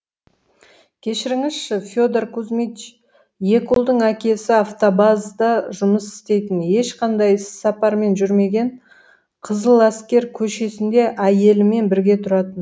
кешіріңізші федор кузьмич екі ұлдың әкесі автобазда жұмыс істейтін ешқандай іссапармен жүрмеген қызыл әскер көшесінде әйелімен бірге тұратын